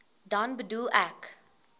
dan bedoel ek